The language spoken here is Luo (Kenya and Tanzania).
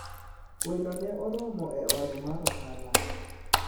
welo ne oromo e ode mar ohala